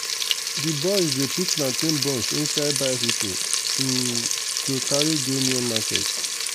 d boys dey put plantain bunch inside bicycle um to carry go near market.